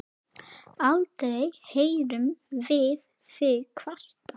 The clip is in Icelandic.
Aldrei heyrðum við þig kvarta.